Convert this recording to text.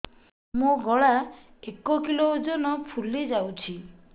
ମୋ ଗଳା ଏକ କିଲୋ ଓଜନ ଫୁଲି ଯାଉଛି